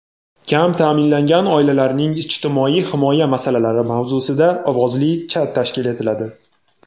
"Kam ta’minlangan oilalarning ijtimoiy himoya masalalari" mavzusida ovozli chat tashkil etiladi!.